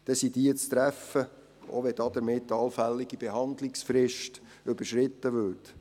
Diese sind zu treffen, auch wenn damit eine allfällige Behandlungsfrist überschritten wird.